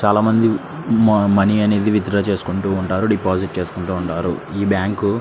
చాలామంది మనీ అనేది withdraw చేసుకుంటూ ఉంటారు డిపాజిట్ చేసుకుంటూ ఉంటారు. ఈ బ్యాంకు --